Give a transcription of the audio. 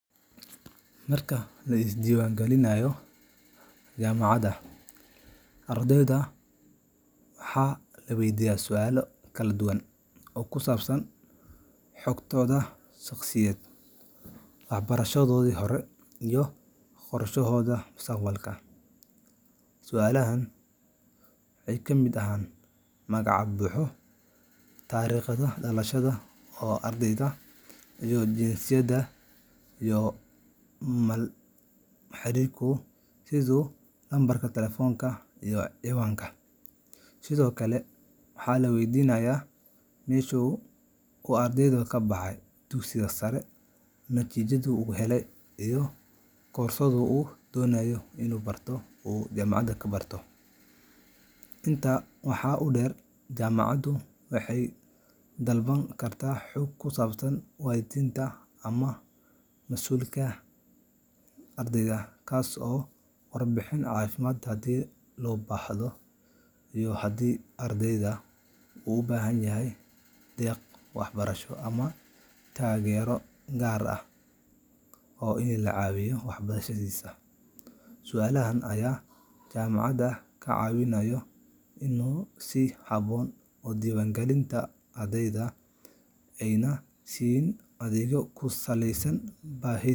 Marka la isdiiwaangelinayo jaamacadda, ardayda waxaa la weydiiyaa su’aalo kala duwan oo ku saabsan xogtooda shaqsiyeed, waxbarashadoodii hore, iyo qorshahooda mustaqbalka. Su’aalahan waxaa ka mid ah magaca buuxa, taariikhda dhalashada, jinsiyadda, iyo macluumaadka xiriirka sida lambarka telefoonka iyo ciwaanka. Sidoo kale, waxaa la weydiiyaa meesha uu ardaygu ka baxay dugsiga sare, natiijadii uu helay, iyo koorsada uu doonayo inuu barto. Intaa waxaa dheer, jaamacaddu waxay dalban kartaa xog ku saabsan waalidiinta ama mas’uulka dhaqaalaha bixiya, warbixin caafimaad haddii loo baahdo, iyo haddii ardaygu u baahan yahay deeq waxbarasho ama taageero gaar ah. Su’aalahan ayaa jaamacadda ka caawiya inay si habboon u diiwaangeliyaan ardayga, ayna siiyaan adeegyo ku saleysan baahiyihiisa.